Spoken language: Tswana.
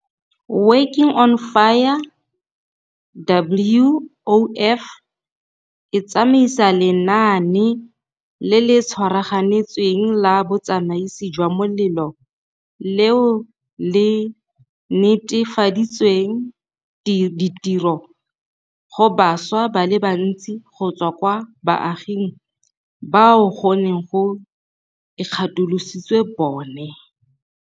Working on Fire, WOF, e tsamaisa lenaane le le tshwaraganetsweng la botsamaisi jwa molelo leo le nete faditseng ditiro go bašwa ba le bantsi go tswa kwa baaging bao go neng go ikgatolositswe bone.